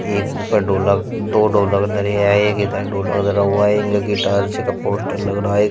एक ऊपर ढोलक दो ढोलक धरे हैं एक इधर ढोलक धरा हुआ है एक जे गिट्टार से का पोस्टर लग रहा है।